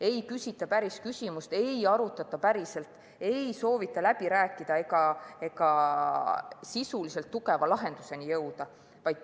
Ei küsita päris küsimust, ei arutata päriselt, ei soovita läbi rääkida ega sisuliselt tugevale lahendusele jõuda.